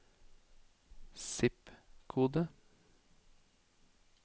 zip-kode